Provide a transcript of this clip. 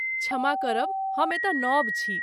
क्षमा करब, हम एतय नव छी।